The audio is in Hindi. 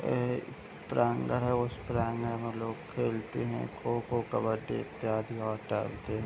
एक है उस में लोग खेलते हैं खोखो कब्बडी इत्यादि और टहलते हैं |